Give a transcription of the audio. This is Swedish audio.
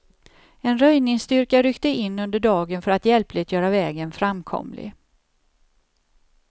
En röjningsstyrka ryckte in under dagen för att hjälpligt göra vägen framkomlig.